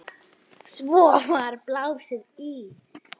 Svo var blásið í.